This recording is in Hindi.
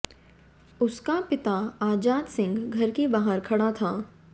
उसका पिता आजाद सिंह घर के बाहर खड़ा था